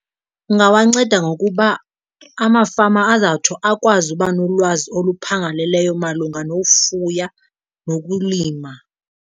Ungawanceda ngokuba amafama azawutsho akwazi uba nolwazi oluphangaleleyo malunga nofuya nokulima.